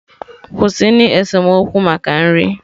Kwụsịnụ esemokwu maka nri!